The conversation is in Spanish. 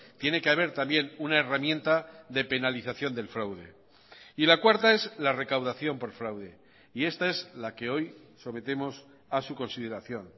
tiene que haber también una herramienta de penalización del fraude y la cuarta es la recaudación por fraude y esta es la que hoy sometemos a su consideración